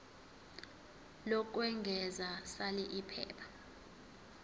lokwengeza sal iphepha